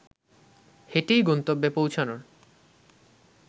হেঁটেই গন্তব্যে পৌঁছানোর